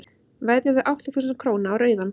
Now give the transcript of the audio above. veðjaðu átta þúsund króna á rauðan